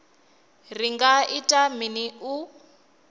ri nga ita mini u